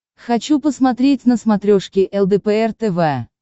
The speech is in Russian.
хочу посмотреть на смотрешке лдпр тв